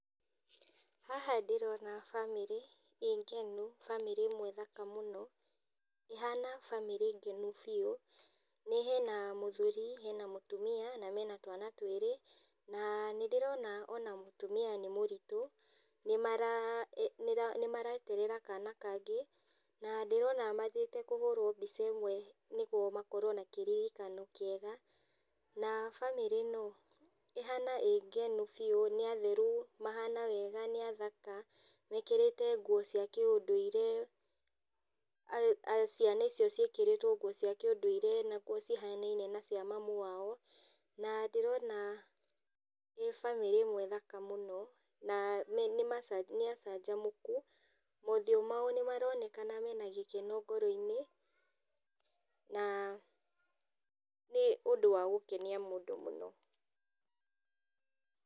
Haha ndĩrona bamĩrĩ, ĩ ngenu, bamĩrĩ ĩmwe thaka mũno, ĩhana bamĩrĩ ngenu biũ, nĩ hena mũthuri, hena mũtumia, na mena twana twĩrĩ, na nĩndĩrona ona mũtumia nĩ mũritũ, nĩmara nĩra nĩmareterera kana kangĩ, na ndĩrona mathiĩte kũhũrwo mbica ĩmwe nĩguo makorwo na kĩririkano kĩega, na bamĩrĩ ĩno ĩhana ĩngenu biũ, nĩatheru, mahana wega nĩathaka. Mekĩrĩte nguo cia kĩũndũire, a ciana icio ciĩkĩrĩtwo nguo cia kĩũndũire, na nguo cihanaine na cia mamu wao, na ndĩrona nĩ bamĩrĩ ĩmwe thaka mũno, na nĩma nĩacanjamũku, mothiũ mao nĩmaronekana mena gĩkeno ngoroinĩ, na, nĩ ũndũ wa gũkenia mũndũ mũno.